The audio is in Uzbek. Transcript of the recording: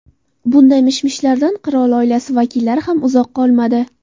Bunday mish-mishlardan qirol oilasi vakillari ham uzoq qolmadi.